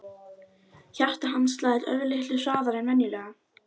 Hjarta hans slær örlitlu hraðar en venjulega.